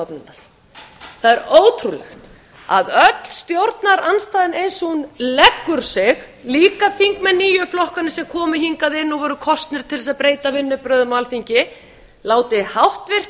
það er ótrúlegt að öll stjórnarandstaðan eins og hún leggur sig líka þingmenn nýju flokkanna sem komu hingað inn og voru kosnir til að breyta vinnubrögðum á alþingi láti háttvirtur